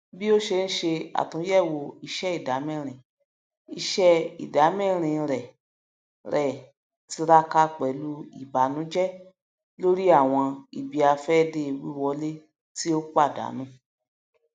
bí o ṣe ń ṣe àtúnyẹwò iṣẹ ìdámẹrin iṣẹ ìdámẹrin rẹ rẹ tiraka pẹlú ìbànújẹ lórí àwọn ibiafẹde wiwọlé tí ó pàdánù